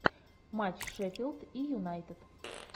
матч шеффилд и юнайтед